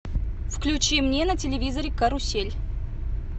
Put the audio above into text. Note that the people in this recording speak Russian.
включи мне на телевизоре карусель